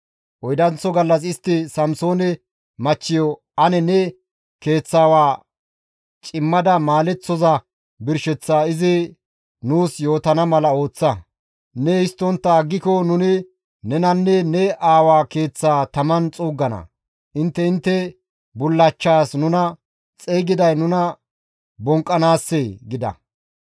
Oydanththo gallas istti Samsoone machchiyo, «Ane ne keeththawaa cimmada maaleththoza birsheththaa izi nuus yootana mala ooththa; ne histtontta aggiko nuni nenanne ne aawa keeththaa taman xuuggana; intte intte bullachchas nuna xeygiday nuna bonqqanaassee?» gida.